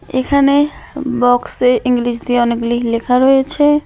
এখানে বক্সে ইংলিশ দিয়ে অনেকগুলি লেখা রয়েছে।